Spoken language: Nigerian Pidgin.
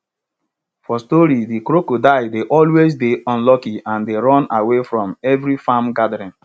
for stories de cockroach dey always dey unlucky and dey run away for every farm gathering